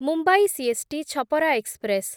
Mumbai CST Chhapra express